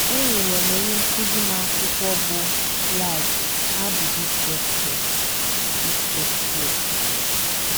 Enyere m onye nkụzi m akwụkwọ bụ́ Life How Did It Get Here It Get Here?